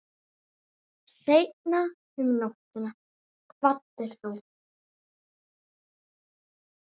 Seinna um nóttina kvaddir þú.